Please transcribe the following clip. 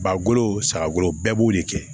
Ba golo sagagolo bɛɛ b'o de kɛ